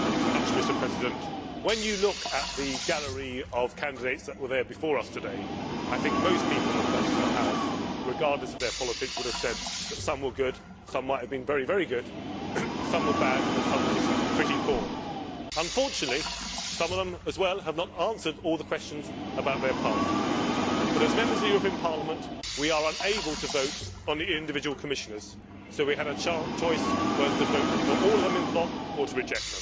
Mr President, when you look at the gallery of candidates that were there before us today, I think most people across the House, regardless of their politics, would have said that some were good, some might have been very, very good, some were bad and some were just pretty poor. Unfortunately, some of them have also not answered all the questions about their past. But, as Members of the European Parliament, we are unable to vote on the individual Commissioners, so we had a choice whether to vote for all of them en bloc or to reject them.